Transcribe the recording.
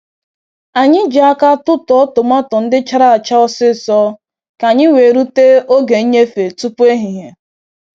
Anyị ji aka tụtụọ tomato ndị chara acha osịsọ ka anyị wee rute oge nnyefe tupu ehihie.